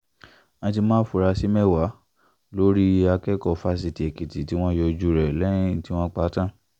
wọ́n ti mú àfúrásì mẹ́wàá lórí akẹ́kọ̀ọ́ fásitì èkìtì tí wọ́n yọ ojú rẹ̀ lẹ́yìn tí wọ́n pa á tán